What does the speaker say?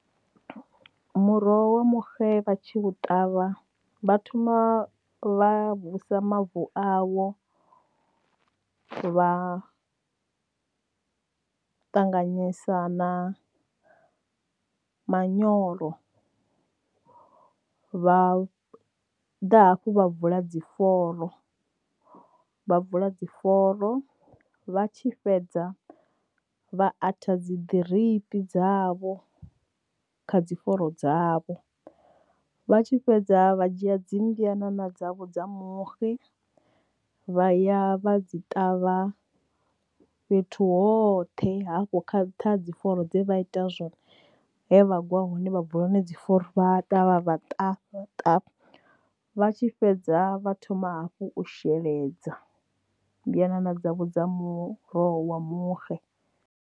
Muroho wa muxe vha tshi u ṱavha vha thoma vha vusa mavu awo vha ṱanganyisa na manyoro vha ḓa hafhu vha vula dziforo vha vula dziforo vha tshi fhedza vha aths dzi drip dzavho kha dzi foro dzavho vha tshi fhedza vha dzhia dzi mbyanana dzavho dza muxe vha ya vha dzi ṱavha fhethu hoṱhe hafho kha dzi founu dze vha ita zwone he vhagwa hune vha bva hone dzi foro vhaḓa vha vha vha tshi fhedza vha thoma hafhu u mbyanana dza muroho wa muxe.